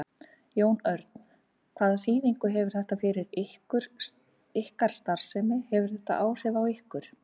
Jón Örn: Hvaða þýðingu hefur þetta fyrir ykkar starfsemi, hefur þetta áhrif á ykkur?